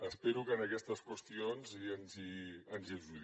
espero que en aquestes qüestions ens hi ajudi